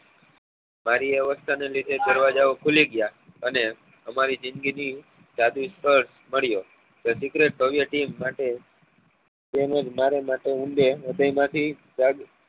ભારીઅવ્સ્થા ને લીધે દરવાજા ઓ ખુલી ગયા અને અમારી જિંદગી ની જાદુ મળ્યો તો માટે તેમજ મારે માટે ઊંડે